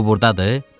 O burdadır?